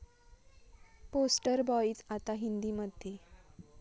poster boys' आता हिंदीमध्ये